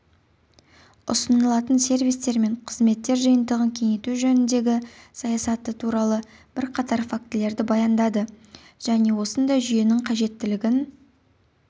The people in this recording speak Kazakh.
ұсынылатын сервистер мен қызметтер жиынтығын кеңейту жөніндегі саясаты туралы бірқатар фактілерді баяндады және осындай жүйенің қажеттілігін